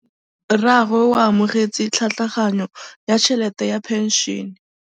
Rragwe o amogetse tlhatlhaganyô ya tšhelête ya phenšene.